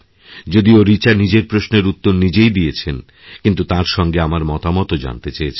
যদিও রিচা নিজের প্রশ্নের উত্তর নিজেই দিয়েছেন কিন্তু তাঁরসঙ্গে আমার মতামতও জানতে চেয়েছেন